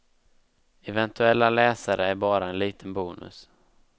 Eventuella läsare är bara en liten bonus.